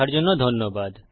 দেখার জন্য ধন্যবাদ